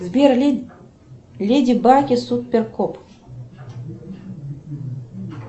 сбер леди баг и супер кот